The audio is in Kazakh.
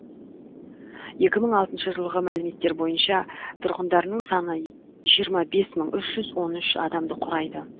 екі мың алтыншы жылғы мәліметтер бойынша тұрғындарының саны жиырма бес мың үш жүз он үш адамды құрайды